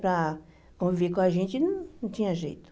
Para conviver com a gente não não tinha jeito.